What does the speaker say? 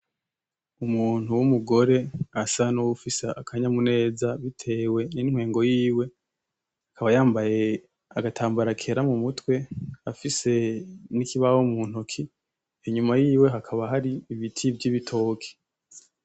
Umuntu w'umugore asa n'uwufise akanyamuneza bitewe n'intwengo yiwe, akaba yambaye agatambara kera mumutwe afise n'ikibaho mu ntoke, inyuma yiwe hakana hari ibiti vyibitoke.